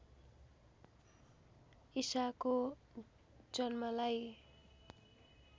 ईसाको जन्मलाई